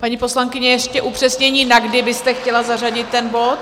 Paní poslankyně, ještě upřesnění, na kdy byste chtěla zařadit ten bod?